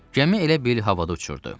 Gəmi elə bil havada uçurdu.